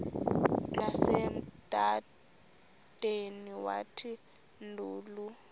nasemadodeni wathi ndilu